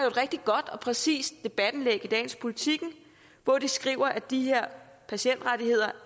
et rigtig godt og præcist debatindlæg i dagens politiken hvor de skriver at de her patientrettigheder